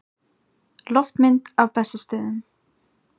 Loftmynd af Bessastöðum.